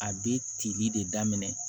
A bɛ tili de daminɛ